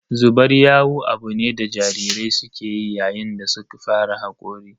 Zubar yawu abu ne da jarirai suke yi yayin da za su fara hakori